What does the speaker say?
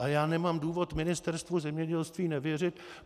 A já nemám důvod Ministerstvu zemědělství nevěřit.